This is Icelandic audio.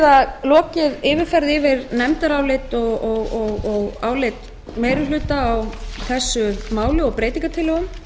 nú lokið yfirferð yfir nefndarálit og álit meiri hluta á þessu máli og breytingartillögum